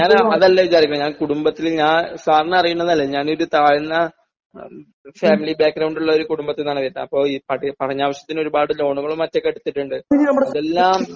അതല്ല വിചാരിക്കുന്നേ ഞാൻ കുടുംബത്തില് ഞാൻ സാറിനറിയുന്നതല്ലേ ഞാൻ താഴ്ന്ന ഫാമിലി ബാക്ക് ഗ്രൌണ്ട് ഉള്ള കുടുംബത്തിൽ നിന്നാണ് വരുന്നേ അപ്പോ പടനാവശ്യത്തിന് ഒരുപാട് ലോണുകളും മറ്റുമൊക്കെ എടുത്തിട്ടുണ്ട് അതെല്ലാം